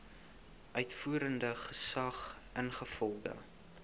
uitvoerende gesag ingevolge